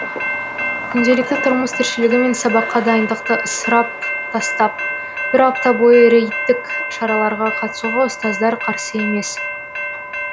күнделікті тұрмыс тіршілігі мен сабаққа дайындықты ысырып тастап бір апта бойы рейдтік шараларға қатысуға ұстаздар қарсы емес